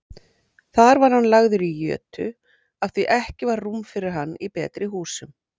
Þar var hann lagður í jötu afþví ekki var rúm fyrir hann í betri húsum.